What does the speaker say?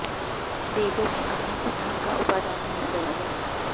वेदों में अग्नि को धर्म का उपादान माना गया है